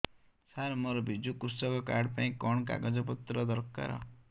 ସାର ମୋର ବିଜୁ କୃଷକ କାର୍ଡ ପାଇଁ କଣ କାଗଜ ପତ୍ର ଦରକାର